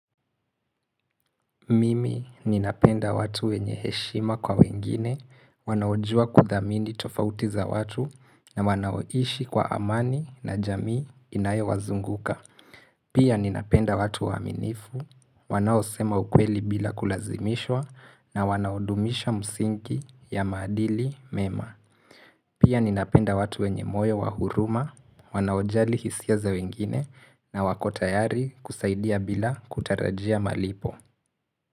Mimi ninapenda watu wenye heshima kwa wengine, wanaojua kudhamini tofauti za watu na wanaoishi kwa amani na jamii inayo wazunguka. Pia ninapenda watu waaminifu, wanaosema ukweli bila kulazimishwa na wanaodumisha msingi ya maadili mema. Pia ninapenda watu wenye moyo wa huruma, wanaojali hisia za wengine na wako tayari kusaidia bila kutarajia malipo.